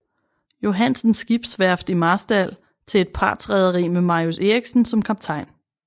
Johansens skibsværft i Marstal til et partsrederi med Marius Eriksen som kaptajn